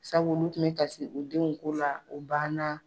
Sabu olu kun be kasi u denw ko la o banna